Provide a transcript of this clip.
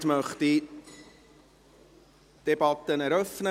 Damit möchte ich die Debatte eröffnen.